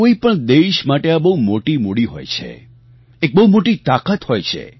કોઈપણ દેશ માટે આ બહુ મોટી મૂડી હોય છે એક બહુ મોટી તાકાત હોય છે